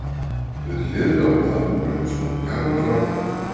Við hliðina á blaðabunkanum stóð gamall rokkur.